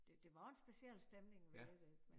Det var en speciel stemning ved det